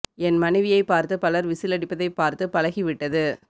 என் மனைவியை பார்த்து பலர் விசில் அடிப்பதை பார்த்து பழகி விட்டது